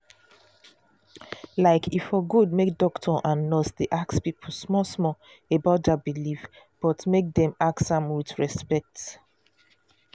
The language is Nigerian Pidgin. like e for good make doctor and nurse dey ask people small-small about their belief but make dem ask am with respect.